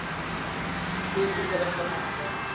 Kjötið fer ekki á markað.